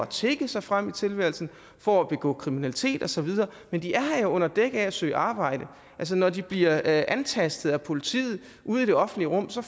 tigge sig frem i tilværelsen for at begå kriminalitet og så videre men de er her jo under dække af at søge arbejde altså når de bliver antastet af politiet ude i det offentlige rum får